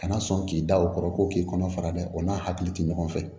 Kana sɔn k'i da o kɔrɔ ko k'i kɔnɔ fara dɛ o n'a hakili to ɲɔgɔn fɛ